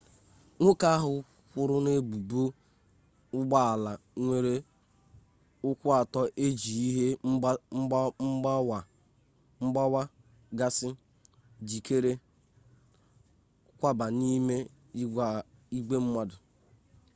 nwoke ahụ kwọrọ n'ebubo ụgbọ ala nwere ụkwụ atọ eji ihe mgbawa gasị jikere kwaba n'ime igwe mmadụ